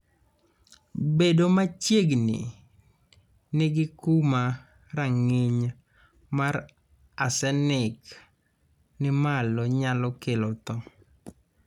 Bedo machiegni ni gi kuma rang'iny mar arsenik ni malo nyalo kelo tho.